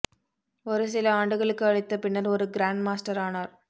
ஒரு சில ஆண்டுகளுக்கு அளித்த பின்னர் ஒரு கிராண்ட்மாஸ்டர் ஆனார்